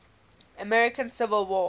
american civil war